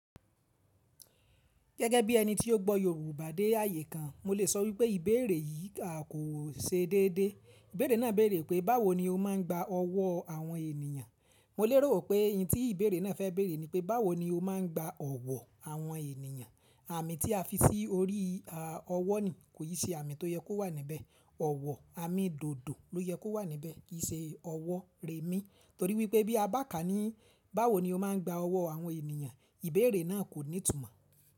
Gẹ́gẹ́ bí ẹni tí ó gbọ́ Yorùbá dé ààyè kan, mo lè sọ wípé ìbéèrè yìí àkóò ṣe déédé. Ìbéèrè náà béèrè pé báwo ni o máa ń gba ọwọ́ àwọn ènìyàn? Mo lérò pé ohun tí ìbéèrè náà fẹ́ béèrè ni pé báwo ni o máa ń gba owọ̀ àwọn ènìyàn? Àmì tí a fi sí orí ọwọ́ ni, kò yí ṣe àmì tó yẹ kó wà níbẹ̀. Ọ̀wọ̀ àmì dòdò ló yẹ kó wà níbẹ̀ kìí ṣe ọwọ́ rẹmí. Torí wípé bí a bá kà á ní báwo ni o máa ń gba ọwọ́ àwọn ènìyàn ìbéèrè náà kò ní ìtumọ̀.